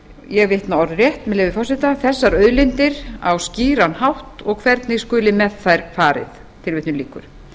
ég vitna orðrétt með leyfi forseta þessar auðlindir á skýran hátt og hvernig skuli með þær farið tilvitnun lýkur